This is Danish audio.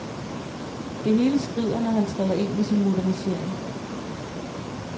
Det hele skrider, når han træder ind med sin modernisering.